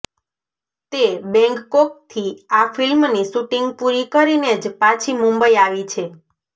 તે બૈન્ગકોકથી આ ફિલ્મની શૂટિંગ પુરી કરીને જ પાછી મુંબઈ આવી છે